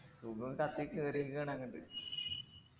കത്തി കേറിയെക്കണ് അങ്ട്ട്